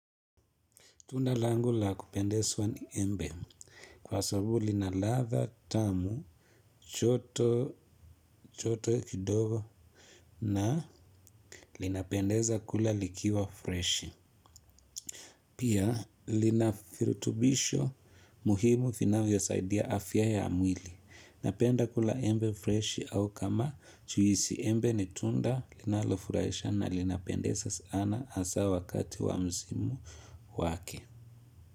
Tunda langu la kupendezwa ni embe, kwa sababu lina ladha tamu, joto joto kidogo na linapendeza kula likiwa freshi. Pia lina virutubisho muhimu vinavyosaidia afya ya mwili. Napenda kula embe freshi au kama juisi embe ni tunda linalofurahisha na linapendeza sana hasa wakati wa msimu wake.